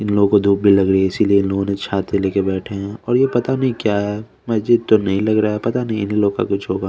लोगो धुप भी लग रही है इसीलिए लोगो ने छाते लेके बेठे है और ये पता नि क्या है मस्जिद तो नही लग रहा है पता नही इन लोग का कुछ होगा--